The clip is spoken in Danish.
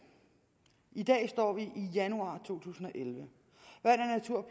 i dag står vi i januar to tusind og elleve